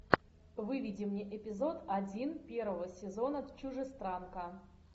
выведи мне эпизод один первого сезона чужестранка